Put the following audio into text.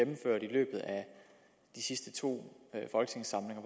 løbet af de sidste to folketingssamlinger